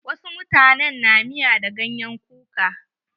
Wasu mutane na miya da ganyen kuka.